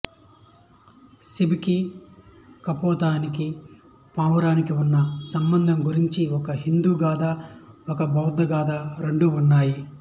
శిబికి కపోతానికి పావురానికి ఉన్న సంబంధం గురించి ఒక హిందూ గాథ ఒక బౌద్ధ గాథ రెండు ఉన్నాయి